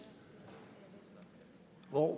og